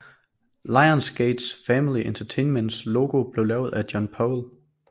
Lions Gate Family Entertainments logo blev lavet af John Powell